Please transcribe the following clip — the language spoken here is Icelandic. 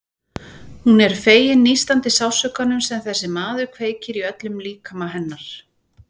Hún er fegin nístandi sársaukanum sem þessi maður kveikir í öllum líkama hennar.